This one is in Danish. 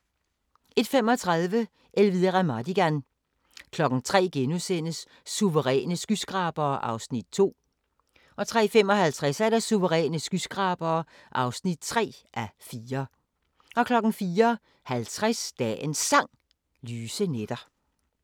01:35: Elvira Madigan 03:00: Suveræne skyskrabere (2:4)* 03:55: Suveræne skyskrabere (3:4) 04:50: Dagens Sang: Lyse nætter *